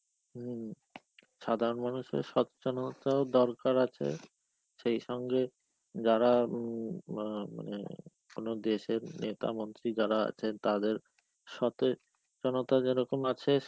হম, সাধারণ মানুষের সচেতন হওয়া দরকার আছে. সেইসঙ্গে যারা উম আ মানে কোনো দেশের নেতা মন্ত্রী যারা আছেন, তাদের সাথে জনতা যেরকম আছে